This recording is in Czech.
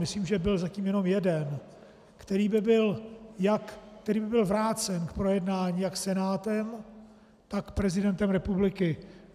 Myslím, že byl zatím jenom jeden, který by byl vrácen k projednání jak Senátem, tak prezidentem republiky.